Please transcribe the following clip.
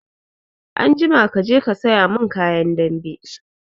Anjima kaje ka saya mun kayan dambe!